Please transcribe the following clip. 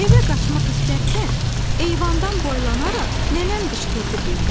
Evə qaçmaq istərkən eyvandan boylanaraq nənəm qışqırdı birdən.